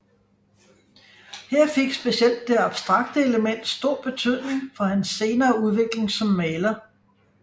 Her fik specielt det abstrakte element stor betydning for hans senere udvikling som maler